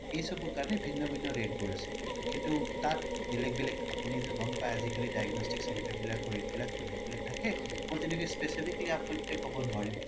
এইচবৰ কাৰনে বিভিন্ন rate বোৰ আছে কিন্তু তাত বেলেগ বেলেগ আপোনিতো গ'ম পাই আজিকালিতো গ'ম পাই diagnostic center বিলাকৰ rate বিলাক বেলেগ বেলেগ থাকে মই তেনেকে specifically আপোনাক এতিয়া ক্'ব নোৱাৰিম কিন্তু